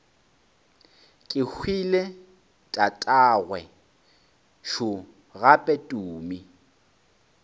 kehwile tatagwe šo gape tumi